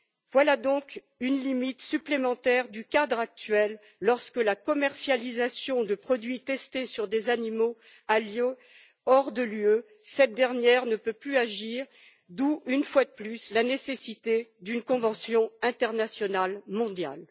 Voilà donc une limite supplémentaire du cadre actuel lorsque la commercialisation de produits testés sur des animaux a lieu hors de l'Union européenne. Cette dernière ne peut plus agir d'où, une fois de plus, la nécessité d'une convention internationale mondiale.